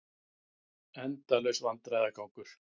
Endalaus vandræðagangur.